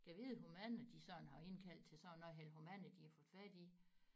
Gad vide hvor mange de sådan har indkaldt til sådan noget her hvor mange de har fået fat i